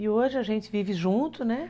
E hoje a gente vive junto, né?